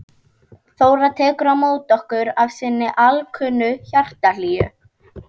Þóra tekur á móti okkur af sinni alkunnu hjartahlýju.